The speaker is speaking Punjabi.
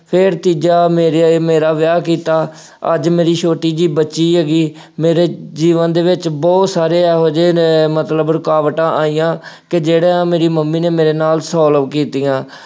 ਫੇਰ ਤੀਜਾ ਮੇਰੇ ਆਈ, ਮੇਰਾ ਵਿਆਂਹ ਕੀਤਾ, ਅੱਜ ਮੇਰੀ ਛੋਟੀ ਜਿਹੀ ਬੱਚੀ ਹੈਗੀ, ਮੇਰੇ ਜੀਵਨ ਦੇ ਵਿੱਚ ਬਹੁਤ ਸਾਰੇ ਇਹੋ ਜਿਹੇ ਨੇ ਮਤਲਬ ਰੁਕਾਵਟਾਂ ਆਈਆਂ ਕਿ ਜਿਹੜਾ ਮੇਰੀ ਮੰਮੀ ਨੇ ਮੇਰੇ ਨਾਲ solve ਕੀਤੀਆਂ।